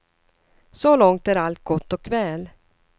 Så långt är allt gott och väl.